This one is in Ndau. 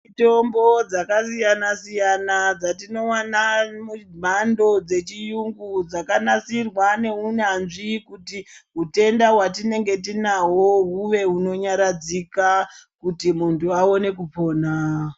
Mitombo dzakasiyana siyana dzatinowana mumhando dzechiyungu dzakanasirwa neunyanzvi kuti hutenda hwatinenge tinahwo hwuwe hunonyaradzika kuti muntu aone kupona.